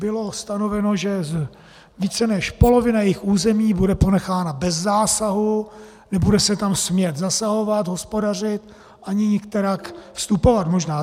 Bylo stanoveno, že více než polovina jejich území bude ponechána bez zásahu, nebude se tam smět zasahovat, hospodařit ani nikterak vstupovat - možná.